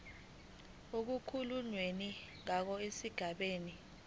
okukhulunywe ngawo esigabeni